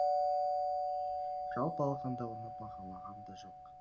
жалпы алғанда оны бағалаған да жоқ